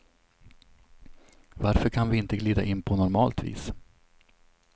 Varför kan vi inte glida in på normalt vis.